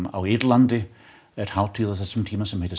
á Írlandi er hátíð á þessum tíma sem heitir